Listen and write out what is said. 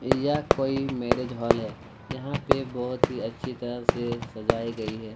यह कोई marriage hall है यहाँ पे बहुत ही अच्छी तरह से सजाई गई हैं।